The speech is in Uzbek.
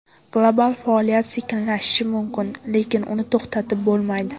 Global faoliyat sekinlashishi mumkin, lekin uni to‘xtatib bo‘lmaydi.